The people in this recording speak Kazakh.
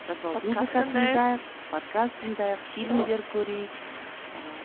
жатып алып подкаст тыңдайық фильмдер көрейік ыыы